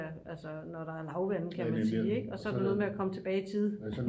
altså når der er lavvande kan man sige ikke og så er det noget med at komme tilbage i tide